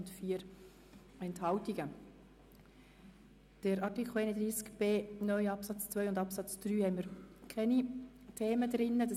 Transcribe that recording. Zu Artikel 31b (neu) Absatz 2 und Absatz 3 liegen uns keine Anträge vor.